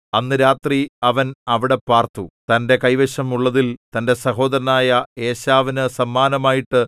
അന്ന് രാത്രി അവൻ അവിടെ പാർത്തു തന്റെ കൈവശം ഉള്ളതിൽ തന്റെ സഹോദരനായ ഏശാവിനു സമ്മാനമായിട്ട്